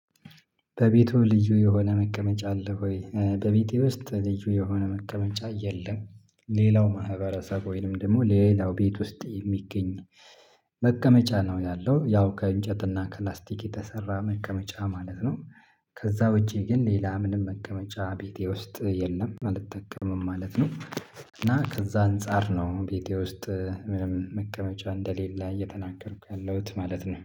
በቤቱ ልዩ የሆነ መቀመጫ አለ ወይ? በቤቴ ውስጥ ልዩ የሆነ መቀመጫ የለም። ሌላው ማህበረሰብ ወይንም ደግሞ ሌላው ቤት ውስጥ የሚገኝ መቀመጫ ነው ያለው ያው ከእንጨትና ከፕላስቲክ የተሰራ መቀመጫ ማለት ነው። ከዚያ ውጪ ግን ሌላ ምንም መቀመጫ ቤቴ ውስጥ የለም አልጠቀምም ማለት ነው። እና ከዚያ አንፃር ነው ቤቴ ውስጥ ምንም መቀመጫ እንደሌለ እየተናገርኩ ያለሁት ማለት ነው